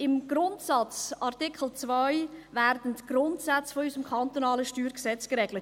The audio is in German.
Im Grundsatzartikel 2 werden die Grundsätze unseres kantonalen StG geregelt.